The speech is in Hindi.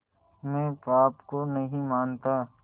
मैं पाप को नहीं मानता